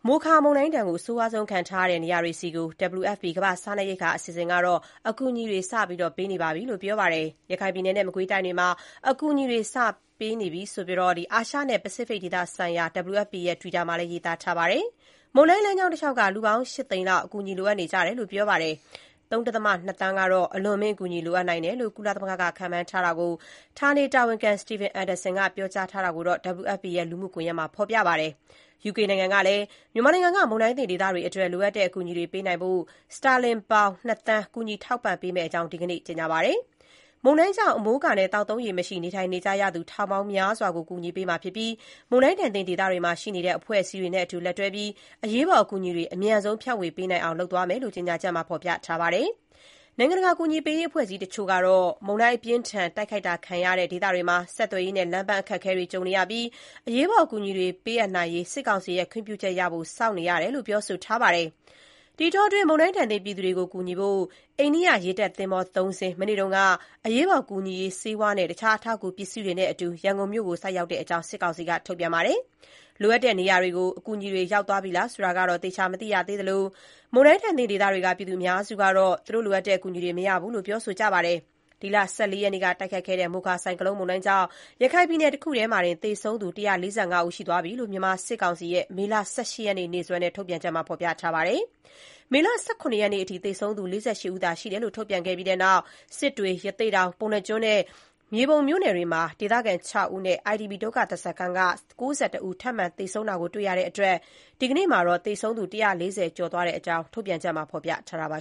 မိုခါမုန်တိုင်းဒဏ် အဆိုးဆုံးခံထားရတဲ့ နေရာတွေဆီကို WFP ကမ္ဘာ့စားနပ်ရိက္ခာအစီအစဉ်က အကူအညီတွေ စတင်ပေးဝေနေပြီလို့ ပြောပါတယ်။ ရခိုင်ပြည်နယ်နဲ့ မကွေးတိုင်းတွေမှာ အကူအညီတွေ စတင်ပို့ပေးနေပြီလို့ အာရှနဲ့ ပစိတ်ဖိတ်ဆိုင်ရာ WFP ရဲ့ Twitter မှာလည်း ရေးသားထားပါတယ်။ မုန်တိုင်းလမ်းကြောင်းတလျှောက်က လူပေါင်း ၈ သိန်းလောက်အကူအညီလိုအပ်နေကြတယ်လို့ ပြောပါတယ်။ ၃.၂ သန်းကတော့ အလွန်အမင်းအကူအညီ လိုအပ်နိုင်တယ်လို့ ကုလသမဂ္ဂက ခန့်မှန်းကြောင်း ဌာနေတာဝန်ခံ Stephen Anderson ပြောကြားချက်ကို WFP ရဲ့ လူမှုကွန်ရက်မှာ ဖော်ပြထားပါတယ်။ UK နိုင်ငံကလည်း မြန်မာနိုင်ငံက မုန်တိုင်းသင့်ဒေသတွေအတွက် လိုအပ်တဲ့ အကူအညီတွေ ပေးနိုင်ဖို့ စတာလင်ပေါင် ၂ သန်း ကူညီ ထောက်ပံ့ပေးမယ့်အကြောင်း ဒီကနေ့ ကြေညာပါတယ်။ မုန်တိုင်းကြောင့် အမိုးအကာနဲ့ သောက်သုံးရေမရှိ နေထိုင်နေကြရသူ ထောင်ပေါင်းများစွာကို ကူညီပေးမှာ ဖြစ်ပြီး မုန်တိုင်းသင့်ဒေသတွေမှာ ရှိနေတဲ့ အဖွဲ့အစည်းတွေနဲ့အတူ လက်တွဲပြီး အရေးပေါ် အကူအညီတွေ အမြန်ဆုံး ဖြန့်ဝေပေးနိုင်အောင် လုပ်သွားမယ့်အကြောင်း ကြေညာချက်မှာ ဖော်ပြထားပါတယ်။ နိုင်ငံတကာ အကူအညီပေးရေး အဖွဲ့အစည်းတချို့ကတော့ မုန်တိုင်းအပြင်းအထန် တိုက်ခိုက်ခံခဲ့ရတဲ့ ဒေသတွေမှာ ဆက်သွယ်ရေးနဲ့ လမ်းပန်းအခက်အခဲတွေ ကြုံနေရပြီး အရေးပေါ် အကူအညီတွေ ပေးအပ်နိုင်ရေး စစ်ကောင်စီရဲ့ ခွင့်ပြုချက်ရဖို့ စောင့်နေရတယ်လို့ ပြောဆိုထားပါတယ်။ ဒီအတောအတွင်း မုန်တိုင်းဒဏ်သင့် ပြည်သူတွေကို ကူညီဖို့ အိန္ဒိယ ရေတပ်သင်္ဘော ၃ စင်း မနေ့က အရေးပေါ်ကူညီရေး ဆေးဝါးနဲ့ တခြား အထောက်အကူ ပစ္စည်းတွေနဲ့အတူ ရန်ုကုန်မြို့ကို ဆိုက်ရောက်တဲ့အကြောင်း စစ်ကောင်စီက ထုတ်ပြန်ပါတယ်။ လိုအပ်တဲ့ နေရာတွေကို ဒီအကူအညီတွေ ရောက်သွားပြီလားဆိုတာတော့ သေချာမသိရသေးသလို၊ မုန်တိုင်းသင့်ဒေသတွေက ပြည်သူ အများစု ကတော့ လိုအပ်တဲ့ အကူအညီတွေ မရသေးတဲ့အကြောင်း ပြောဆိုနေကြပါတယ်။ ဒီလ ၁၄ ရက်နေ့က တိုက်ခတ်ခဲ့တဲ့ မိုခါ ဆိုင်ကလုန်းမုန်တိုင်းကြောင့် ရခိုင်ပြည်နည် တခုတည်းမှာတင် သေဆုံးသူ ၁၄၅ ဦးရှိသွားပြီလို့ မြန်မာစစ်ကောင်စီရဲ့ မေလ ၁၈ ရက်နေ့စွဲနဲ့ ထုတ်ပြန်ထားပါတယ်။ မေလ ၁၇ ရက်နေ့အထိ သေဆုံးသူ ၄၈ ဦးသာ ရှိတယ်လို့ ထုတ်ပြန်ခဲ့ပြီးတဲ့နောက် စစ်တွေ၊ ရသေ့တောင်၊ ပုဏ္ဏာကျွန်းနဲ့ မြေပုံမြို့နယ်တွေမှာ ဒေသခံ ၆ ဦးနဲ့ IDP ဒုက္ခသည်စခန်းက ၉၁ ဦး ထပ်မံ သေဆုံးတာ တွေ့ရတဲ့အတွက် ဒီကနေ့မှာတော့ သေဆုံးသူ ၁၄၀ ကျော် သွားတဲ့အကြောင်း ထုတ်ပြန်ချက်မှာ ဖော်ပြထားပါ